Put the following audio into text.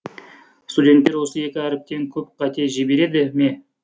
студенттер осы екі әріптен көп қате жібереді ме